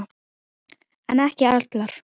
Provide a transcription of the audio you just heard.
En ekki allar.